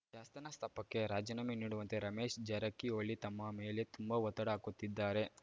ಶಾಸ್ಥಾನ ಸ್ತಾಪಕ್ಕೆ ರಾಜೀನಾಮೆ ನೀಡುವಂತೆ ರಮೇಶ ಜಾರಕಿಹೊಳಿ ತಮ್ಮ ಮೇಲೆ ತುಂಬಾ ಒತ್ತಡ ಹಾಕುತ್ತಿದ್ದಾರೆ